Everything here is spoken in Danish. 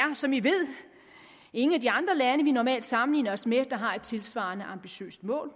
som vi ved ingen af de andre lande vi normalt sammenligner os med der har et tilsvarende ambitiøst mål